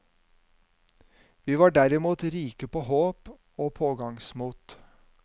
Vi var derimot rike på håp og pågangsmot.